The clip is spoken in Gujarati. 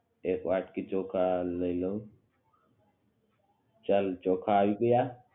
એક વાટ્કી ચોખા લઈ લવ ચાલ ચોખા આવી ગ્યા